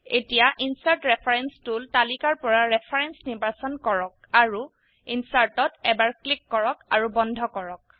এতিয়া insert reference tool তালিকাৰ পৰা ৰেফাৰেন্স নিৰ্বাচন কৰক আৰু ইনচাৰ্ট ত এবাৰ ক্লিক কৰক আৰু বন্ধ কৰক